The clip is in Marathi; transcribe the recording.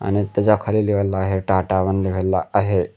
आणि त्याज्या खाली लिवलेला आहे टाटा वन लिवलेला आहे.